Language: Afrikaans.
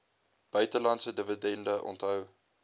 buitelandse dividende onthou